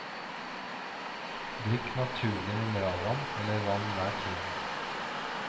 Drikk naturlig mineralvann eller vann hver time.